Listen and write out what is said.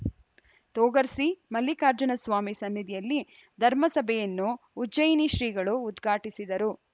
ತೊಗರ್ಸಿ ಮಲ್ಲಿಕಾರ್ಜುನ ಸ್ವಾಮಿ ಸನ್ನಿಧಿಯಲ್ಲಿ ಧರ್ಮಸಭೆಯನ್ನು ಉಜ್ಜಯಿನಿ ಶ್ರೀಗಳು ಉದ್ಘಾಟಿಸಿದರು